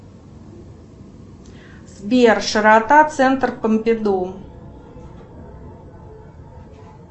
сбер широта центр помпиду